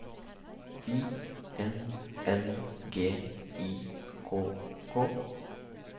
I N N G I K K